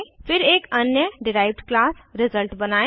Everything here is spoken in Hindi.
फिर एक अन्य डिराइव्ड क्लास रिजल्ट बनायें